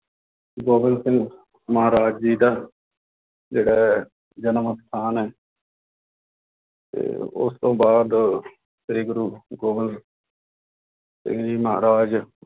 ਗੋਬਿੰਦ ਸਿੰਘ ਮਹਾਰਾਜ ਜੀ ਦਾ ਜਿਹੜਾ ਹੈ ਜਨਮ ਅਸਥਾਨ ਹੈ ਤੇ ਉਸ ਤੋਂ ਬਾਅਦ ਸ੍ਰੀ ਗੁਰੂ ਗੋਬਿੰਦ ਸਿੰਘ ਜੀ ਮਹਾਰਾਜ